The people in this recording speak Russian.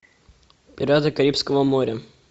пираты карибского моря